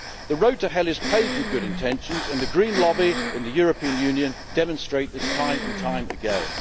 The road to hell is paved with good intentions and the Green lobby in the European Union demonstrate this time and time again.